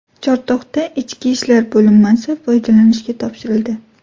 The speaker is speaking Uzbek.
Chortoqda ichki ishlar bo‘linmasi foydalanishga topshirildi.